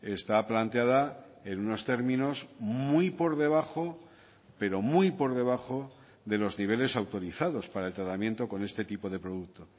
está planteada en unos términos muy por debajo pero muy por debajo de los niveles autorizados para el tratamiento con este tipo de producto